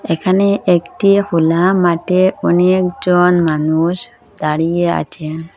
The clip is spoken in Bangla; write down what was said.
এখানে একটি হোলা মাটে অনেকজন মানুষ দাঁড়িয়ে আচে ।